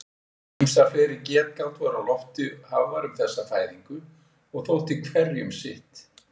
Ýmsar fleiri getgátur voru á lofti hafðar um þessa fæðingu og þótti hverjum sitt.